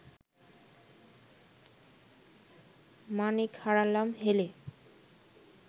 মাণিক হারালাম হেলে